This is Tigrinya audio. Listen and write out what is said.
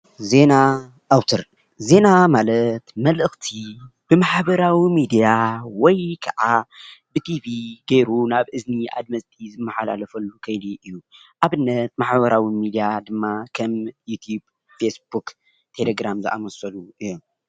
ዜና ኣውታር፡- ዜና ማለት መልእክቲ ብማሕበራዊ ሚድያ ወይ ከዓ ብቲቪ ጌሩ ናብ እዝኒ ኣድመፅቲ ዝመሓላለፈሉ ከይዱ እዩ፡፡ ኣብነት ማሕበራዊ ሚድያ ድማ ከም ከም ዩቲቭ፣ ፌስቡክ፣ ቴለግራም ዝኣምሰሉ እዮም፡፡